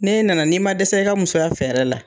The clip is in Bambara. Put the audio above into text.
N' e nana ni ma dɛsɛ i ka musoya fɛrɛ la.